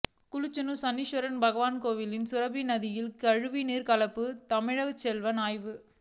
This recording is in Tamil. குச்சனூர் சனீஸ்வர பகவான் கோயிலில் சுரபி நதியில் கழிவுநீர் கலப்பு தங்கதமிழ்ச்செல்வன் ஆய்வு